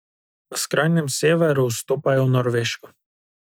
Na skrajnem severu vstopajo v Norveško.